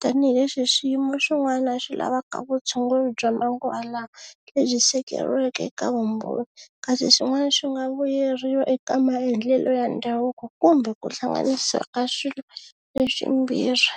tanihileswi swiyimo swin'wana swi lavaka vutshunguri bya manguva lawa lebyi seketeriweke eka vumbhoni kasi swin'wana swi nga vuyeriwa eka maendlelo ya ndhavuko kumbe ku hlanganisiwa ka swilo leswimbirhi.